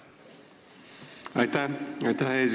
Aitäh, eesistuja!